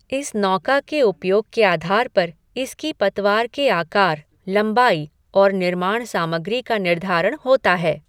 इस नौका के उपयोग के आधार पर इसकी पतवार के आकार, लंबाई और निर्माण सामग्री का निर्धारण होता है।